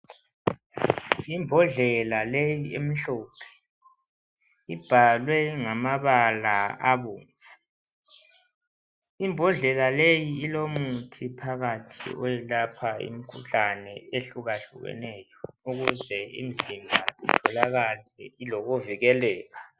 Imbodlela leyi emhlophe ibhalwe ngamabala abomvu. Imbodlela leyi ilomuthi phakathi oyelapha imikhuhlane ehlukahlukeneyo ukuze imizimba itholakale ilokuvikeleka.